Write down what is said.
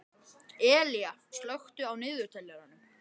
Elea, slökktu á niðurteljaranum.